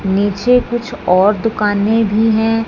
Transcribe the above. नीचे कुछ और दुकाने भी हैं।